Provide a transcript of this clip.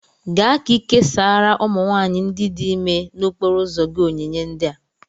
Gaa ka ị késárá ụmụ nwanyị ndị dị ímé n'okporo ụzọ gị onyinye ndị a